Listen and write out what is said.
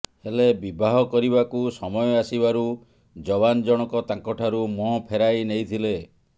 ହେଲେ ବିବାହ କରିବାକୁ ସମୟ ଆସିବାରୁ ଯବାନ ଜଣକ ତାଙ୍କଠାରୁ ମୁହଁ ଫେରାଇ ନେଇଥିଲେ